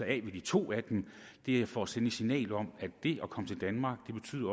af ved de to det er for at sende et signal om at det at komme til danmark